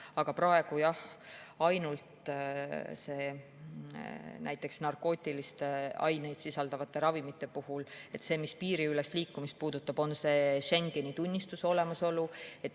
Aga praegu jah, ainult näiteks narkootilisi aineid sisaldavate ravimite puhul, mis piiriülest liikumist puudutab, on see Schengeni tunnistuse olemasolu.